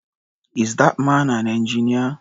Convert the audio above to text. Is that man an engineer?